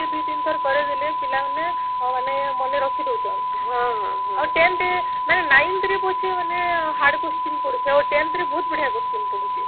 ସେ ଦୁଇ ତିନି ଥର କରିଦେଲେ ପିଲା ମାନେ ମାନେ ମନେ ରଖି ଦଉଛନ ଆଉ tenth ମାନେ ninth ରେ ପଛେ ମାନେ hard question ପଡୁଛି ଆଉ tenth ରେ ବହୁତ ବଢିଆ question ପଡୁଛି